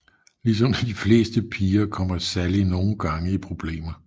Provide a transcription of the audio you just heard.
Ligesom de fleste piger kommer Sally nogle gange i problemer